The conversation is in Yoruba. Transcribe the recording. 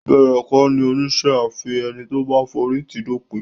Ìbẹ̀rẹ̀ kọ́ ni oníṣẹ́ a fi ẹni tó bá forí tì í dópin.